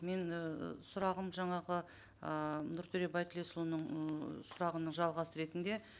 мен і сұрағым жаңағы ыыы нұртөре байтілесұлының ыыы сұрағының жалғасы ретінде